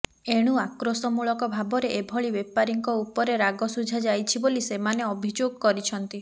ଏଣୁ ଆକ୍ରୋଶମୂଳକ ଭାବରେ ଏଭଳି ବେପାରୀଙ୍କ ଉପରେ ରାଗ ଶୁଝା ଯାଇଛି ବୋଲି ସେମାନେ ଅଭିଯୋଗ କରିଛନ୍ତି